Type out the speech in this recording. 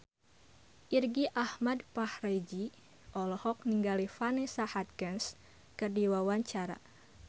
Irgi Ahmad Fahrezi olohok ningali Vanessa Hudgens keur diwawancara